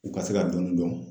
U ka se ka dɔni dɔn